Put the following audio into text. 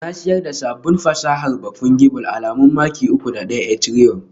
Na siyar da sabon fasahar ba Fungible alamu maki uku da ɗaya Ethereum